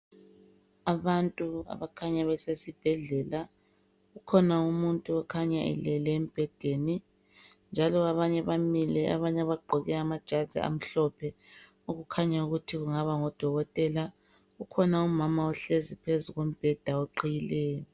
abantu abakhanya besesibhedlela kukhona umuntu okhanya elele embhedeni njalo abanye bamile ebanye bagqoke amajazi amhlophe okukhanya ukuthi kungaba ngo dokotela kukhona umama ohlezi phezu kombheda oqhiyileyo